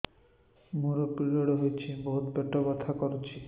ମୋର ପିରିଅଡ଼ ହୋଇଛି ବହୁତ ପେଟ ବଥା କରୁଛି